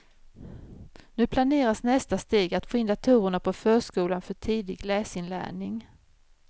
Nu planeras nästa steg, att få in datorerna på förskolan för tidig läsinlärning.